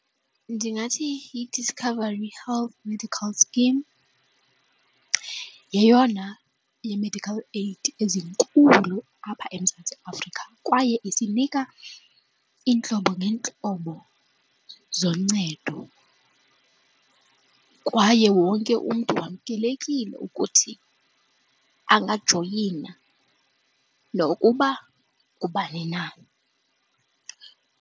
Ndingathi ithi yi-Discovery Health Medical Scheme, yeyona ye-medical aid ezinkulu apha eMzantsi Afrika kwaye esinika iintlobo ngeentlobo zoncedo kwaye wonke umntu wamkelekile ukuthi angajoyina nokuba ngubani na.